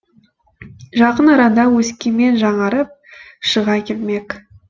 жақын арада өскемен жаңарып шыға келмек